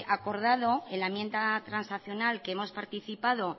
acordado en la enmienda transaccional que hemos participado